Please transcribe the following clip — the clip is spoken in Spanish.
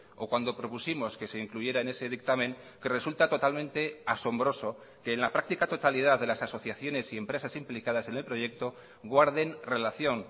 o cuando propusimos que se incluyera en ese dictamen que resulta totalmente asombroso que en la práctica totalidad de las asociaciones y empresas implicadas en el proyecto guarden relación